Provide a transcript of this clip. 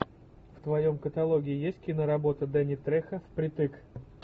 в твоем каталоге есть киноработа дэнни трехо впритык